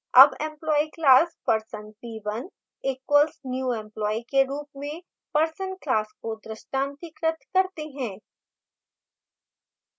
अब employee class person p1 equals new employee के रूप में person class को दृष्टांतिकृत करते हैं